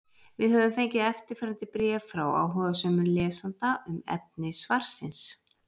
Við höfum fengið eftirfarandi bréf frá áhugasömum lesanda um efni svarsins: